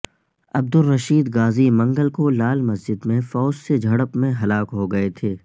عبدالرشید غازی منگل کو لال مسجد میں فوج سے جھڑپ میں ہلاک ہوگئے تھے